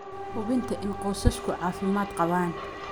hubinta in qoysasku caafimaad qabaan.